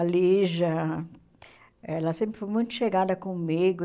A Lígia, ela sempre foi muito chegada comigo.